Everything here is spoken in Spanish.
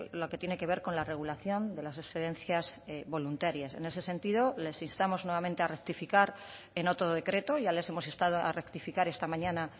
lo que tiene que ver con la regulación de las excedencias voluntarias en ese sentido les instamos nuevamente a rectificar en otro decreto ya les hemos instado a rectificar esta mañana